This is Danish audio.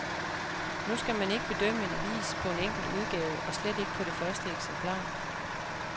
Nu skal man ikke bedømme en avis på en enkelt udgave, og slet ikke på det første eksemplar.